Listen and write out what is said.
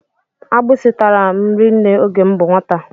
Agbisi tàrà m rinne oge m bú nwata.